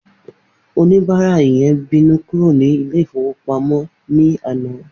Oníbàárà yẹn bínú kúrò ní Ilé-ìfowópamó ní àná